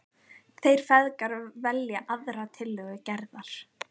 Þeir feðgar velja aðra tillögu Gerðar.